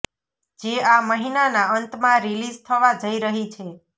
જે આ મહિનાના અંતમાં રિલિઝ થવા જઇ રહી છે